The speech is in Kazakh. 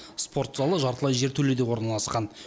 спортзалы жартылай жертөледе орналасқан